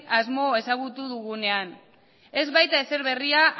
asmoa ezagutu dugunean ez baita ezer berria